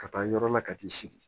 Ka taa yɔrɔ la ka t'i sigi